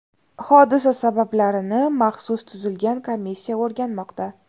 Hodisa sabablarini maxsus tuzilgan komissiya o‘rganmoqda.